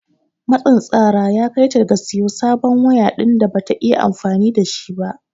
Matsin tsara ya kai ta ga siyo sabon waya din da Bata iya amfani da shi ba.